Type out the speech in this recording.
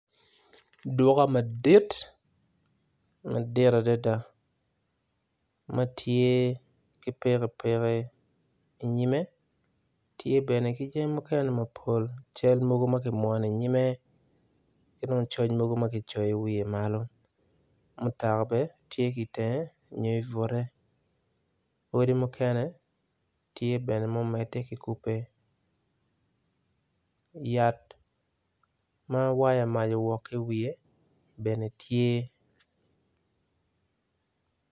Duka madit, madit adada, ma tye ki pikipiki inyime, tye bene ki jami mukene mapol cal mogo ma ki mwono inyime ki dong coc mogo ma ki coyo i wiye malo. Mutoka bene tye ki itenge nyo i bute, odi mukene tye bene mumedde ki kube yat ma waya mac owok ki i wiye bene tye.